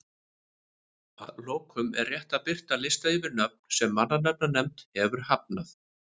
Að lokum er rétt að birta lista yfir nöfn sem mannanafnanefnd hefur hafnað.